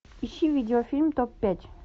ищи видеофильм топ пять